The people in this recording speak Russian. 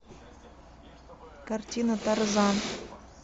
картина тарзан